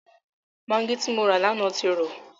Magí tí mo rà lánàá ti rọ.